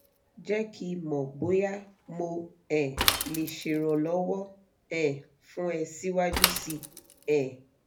jẹ́ kí n mọ̀ bóyá mo um lè ṣèrànlọ́wọ́ um fún ẹ síwájú si um